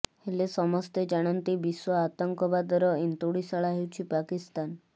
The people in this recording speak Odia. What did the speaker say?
ହେଲେ ସମସ୍ତେ ଜାଣନ୍ତି ବିଶ୍ୱ ଆତଙ୍କବାଦର ଏନ୍ତୁଡିଶାଳା ହେଉଛି ପାକିସ୍ତାନ